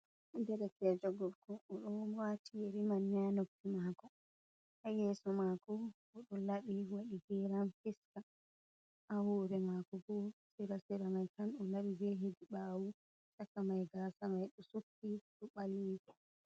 Derekeejo gorko o ɗo mari yeri haa noppi maako, haa yeeso maako boo ɗo laɓi waɗi geeram fiska haa hoorre maako boo sera sera mai tan o laɓi jey hedi ɓaawo chaka mai gaasa mai ɗo sutti ɗo ba mil kolo.